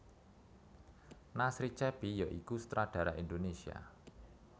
Nasri Cheppy ya iku sutradara Indonesia